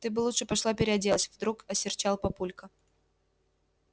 ты бы лучше пошла переоделась вдруг осерчал папулька